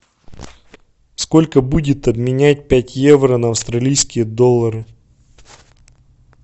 сколько будет обменять пять евро на австралийские доллары